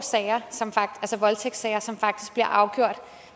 voldtægtssager som faktisk bliver afgjort